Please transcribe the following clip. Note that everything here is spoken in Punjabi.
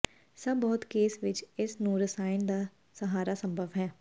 ਸਭ ਬਹੁਤ ਕੇਸ ਵਿੱਚ ਇਸ ਨੂੰ ਰਸਾਇਣ ਦਾ ਸਹਾਰਾ ਸੰਭਵ ਹੈ